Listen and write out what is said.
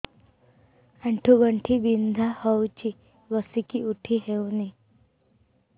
ଆଣ୍ଠୁ ଗଣ୍ଠି ବିନ୍ଧା ହଉଚି ବସିକି ଉଠି ହଉନି